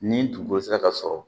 Ni dugukolo sera ka sɔrɔ